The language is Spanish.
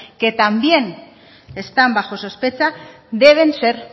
que también están bajo sospecha deben ser